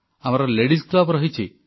ଆମର ladies club ରହିଛି